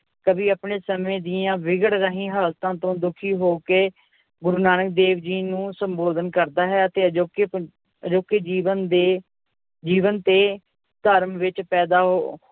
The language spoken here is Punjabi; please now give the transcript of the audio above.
ਕਵੀ ਆਪਣੇ ਸਮੇਂ ਦੀਆਂ ਵਿਗੜ ਰਹੀ ਹਾਲਤਾਂ ਤੋਂ ਦੁਖੀ ਹੋ ਕੇ ਗੁਰੂ ਨਾਨਕ ਦੇਵ ਜੀ ਨੂੰ ਸੰਬੋਧਨ ਕਰਦਾ ਹੈ ਅਤੇ ਅਜੋਕੇ ਪੰ~ ਅਜੋਕੇ ਜੀਵਨ ਦੇ ਜੀਵਨ ਤੇ ਧਰਮ ਵਿੱਚ ਪੈਦਾ